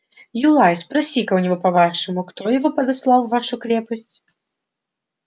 юлай спроси-ка у него по-вашему кто его подослал в вашу крепость